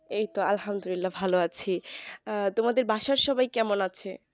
এই তো আল্লাহামদুল্লিয়া ভালো আছি আহ তোমাদের বাসার সবাই কেমন আছে